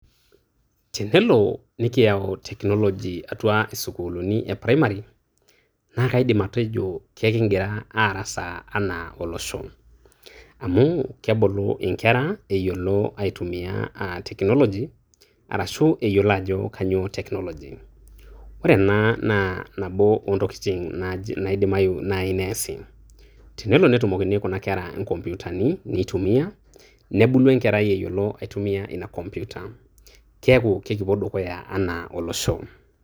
Tenelo nikiyau technology atua isukuulini e primary naa kaidim atejo kakigira aarasaa enaa olosho, amuu kebulu inkerra eyiolo aitumia aa technology arashu eyiolo ajo kainy'ioo technology. Ore ena naa nabo oontokini naaji naidimayu naai neesi, tenelo netumokini kuna kerra inkompyutani nebulu enkerai eyiolo aitumia ina computer. Keeku kekipuo dukuya enaa olosho.